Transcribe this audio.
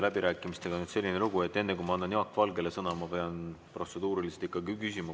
Läbirääkimistega on selline lugu, et enne kui ma annan Jaak Valgele sõna, pean ma protseduuriliselt ikkagi küsima.